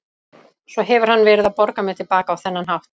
Svo hefur hann verið að borga mér til baka á þennan hátt.